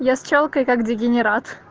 я с чёлкой как дегенерат